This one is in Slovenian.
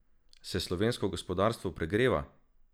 Se slovensko gospodarstvo pregreva?